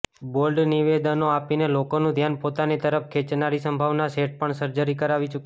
bold નિવેદનો આપીને લોકોનું ધ્યાન પોતાની તરફ ખેંચનારી સંભાવના શેઠ પણ સર્જરી કરાવી ચૂકી છે